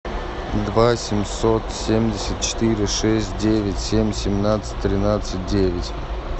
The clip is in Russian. два семьсот семьдесят четыре шесть девять семь семнадцать тринадцать девять